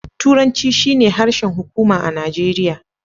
Turanci shine harshen hukuma a Najeriya.